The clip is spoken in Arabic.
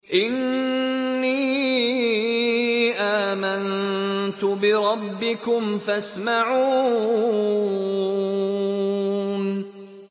إِنِّي آمَنتُ بِرَبِّكُمْ فَاسْمَعُونِ